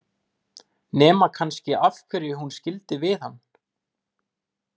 Nema kannski af hverju hún skildi við hann.